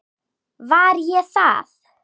Var ég það?